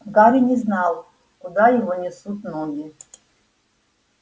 гарри не знал куда его несут ноги